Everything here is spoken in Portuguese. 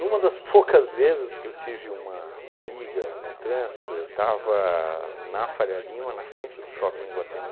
das poucas vezes que eu tive uma briga no trânsito, eu estava na Faria Lima, na frente do shopping em Iguatemi,